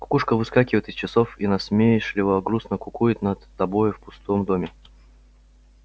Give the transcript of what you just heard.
кукушка выскакивает из часов и насмешливо-грустно кукует над тобою в пустом доме